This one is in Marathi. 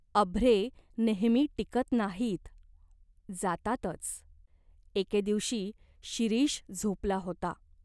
अभ्रे नेहमी टिकत नाहीत. जातातच." एके दिवशी शिरीष झोपला होता.